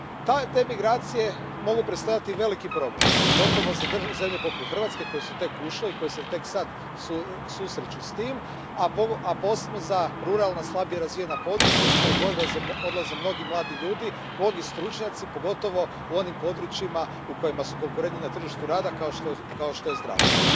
Te migracije mogu predstavljati veliki problem, pogotovo za zemlje poput Hrvatske, koje su tek ušle i koje se tek sad susreću s tim, a posebno za ruralna, slabije razvijena područja iz kojih odlaze mnogi mladi ljudi, mnogi stručnjaci, pogotovo u onim područjima u kojima su konkurentni na tržištu rada kao što je zdravstvo.